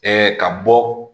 ka bɔ